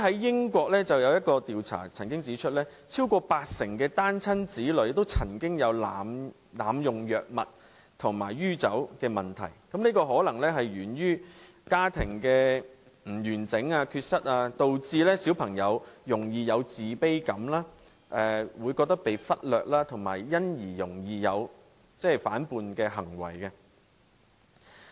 英國曾經有一項調查指出，超過八成單親子女曾經有濫用藥物及酗酒問題，這可能是源於家庭不完整，導致小朋友容易有自卑感，會覺得被忽略，以及因而容易作出反叛行為。